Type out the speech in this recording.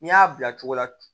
N'i y'a bila cogo la